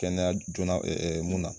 Kɛnɛya jona ɛ ɛ mun na